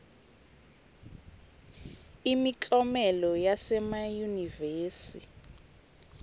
imiklomelo yasemayunivesi